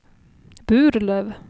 Burlöv